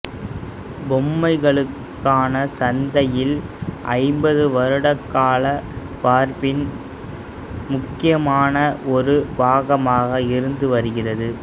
பொம்மைகளுக்கான சந்தையில் ஐம்பது வருடங்களாக பார்பி முக்கியமான ஒரு பாகமாக இருந்து வருகிறது